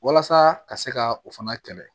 Walasa ka se ka o fana kɛlɛ